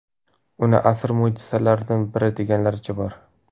Uni asr mo‘jizalaridan biri deganlaricha bor.